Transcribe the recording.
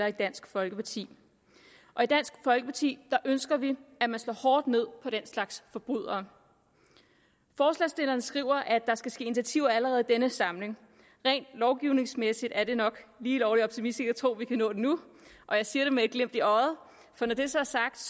i dansk folkeparti og i dansk folkeparti ønsker vi at man slår hårdt ned på den slags forbrydere forslagsstillerne skriver at der skal ske initiativer allerede i denne samling rent lovgivningsmæssigt er det nok lige lovlig optimistisk at tro at vi kan nå det nu og jeg siger det med et glimt i øjet for når det så er sagt